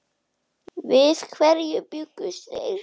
Við hverju bjuggust þeir?